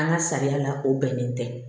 An ka sariya la o bɛnnen tɛ